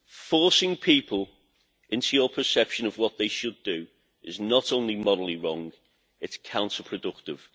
Forcing people into your perception of what they should do is not only morally wrong it is counterproductive.